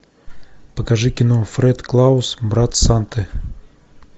покажи кино фред клаус брат санты